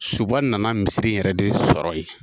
Suba nana misiri in yɛrɛ de sɔrɔ ye.